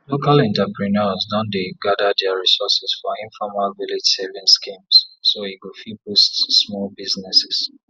local entrepreneurs don dey gather their resources for informal village savings schemes so e go fit boost small businesses